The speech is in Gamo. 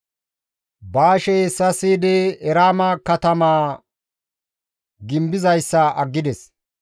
Baashey hessa siyidi, Eraama katamaa gimbizayssa aggides.